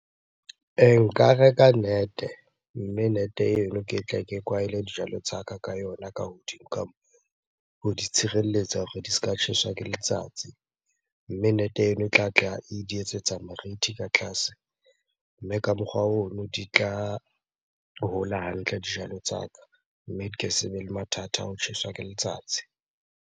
E nka reka net-e, mme net-eno ke tle ke kwahele dijalo tsa ka ka yona ka hodimo ka moo. Ho di tshireletsa hore di se ka tjheswa ke letsatsi. Mme net-e eno e tlatla e di etsetsa morithi ka tlase. Mme ka mokgwa ono di tla hola hantle dijalo tsa ka, mme di ka se be le mathata a ho tjheswa ke letsatsi.